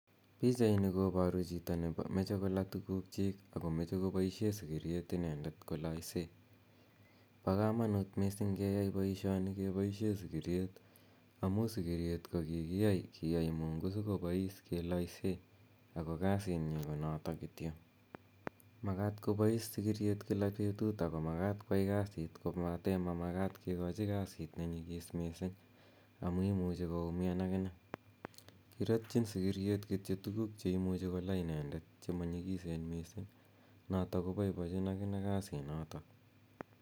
Pichaini koparu chito ne mache kola tuguukchiik ako mache kopaishe sikiriet inendet ko laise. Pa kamanuut missing' keeyai poishoni ke paishe sikiriet amu sikiriet ko kikiyai, Kiyai Mungu si kopais kelaisee, ako kasit nyi ko notok kityo. Makat koyai kopais sikiriet kila petut, ako makat koyai kasiit kopate mamakat kikachi kasit ne nyigis missing' amu imuchi koumian akine. Kiratchin kityo sikiriet che imuci ko la inendet che ma nyikisen missing' notok kopaipachin akine kasinotok.